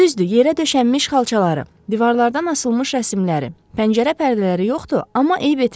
Düzdür, yerə döşənmiş xalçaları, divarlardan asılmış rəsimləri, pəncərə pərdələri yoxdur, amma eyb etməz.